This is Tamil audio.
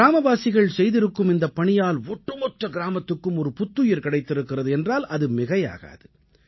கிராமவாசிகள் செய்திருக்கும் இந்தப் பணியால் ஒட்டுமொத்த கிராமத்துக்கும் ஒரு புத்துயிர் கிடைத்திருக்கிறது என்றால் அது மிகையாகாது